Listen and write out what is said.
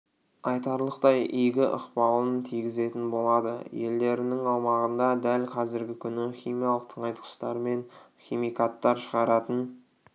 айтарлықтай игі ықпалын тигізетін болады елдерінің аумағында дәл қазіргі күні химиялық тыңайтқыштар мен химикаттар шығаратын